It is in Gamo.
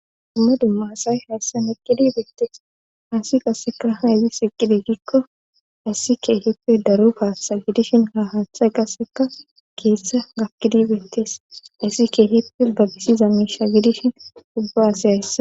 Dumma dummaasay hayssan eqqidibeettees haasi qasseka hayzi iqqide gikko ayssi keehippe daru paaththa gidishin ha haaththay qasseka keeshsha gakkidibeettees ayssi keehippe babisi za misha gidishin ubba asi hayssa